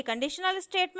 a conditional statement